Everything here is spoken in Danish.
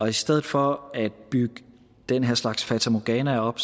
i stedet for at bygge den her slags fatamorganaer op